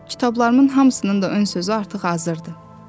Kitablarımın hamısının da ön sözü artıq hazırdır.